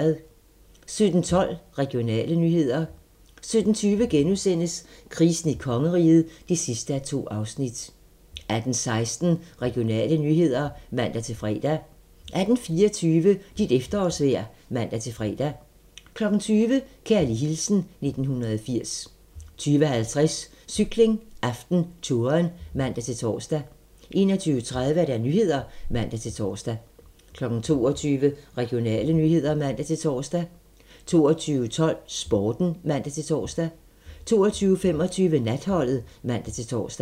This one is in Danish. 17:12: Regionale nyheder 17:20: Krisen i kongeriget (2:2)* 18:16: Regionale nyheder (man-fre) 18:24: Dit efterårsvejr (man-fre) 20:00: Kærlig hilsen 1980 20:50: Cykling: AftenTouren (man-tor) 21:30: Nyhederne (man-tor) 22:00: Regionale nyheder (man-tor) 22:12: Sporten (man-tor) 22:25: Natholdet (man-tor)